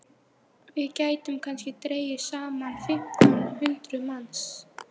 Við gætum kannski dregið saman fimmtán hundruð manns.